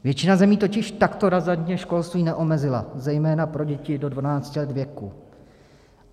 Většina zemí totiž takto razantně školství neomezila, zejména pro děti do 12 let věku.